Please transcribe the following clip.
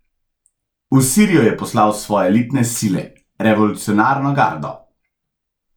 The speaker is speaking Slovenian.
V Sirijo je poslal svoje elitne sile, revolucionarno gardo.